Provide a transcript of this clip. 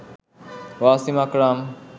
Wasim Akram